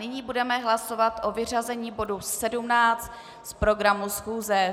Nyní budeme hlasovat o vyřazení bodu 17 z programu schůze.